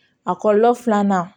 A kɔlɔlɔ filanan